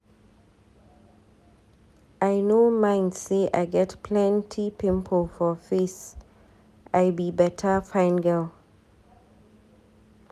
I no mind say I get plenty pimple for face, I be beta fine girl.